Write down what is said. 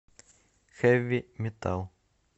хэви метал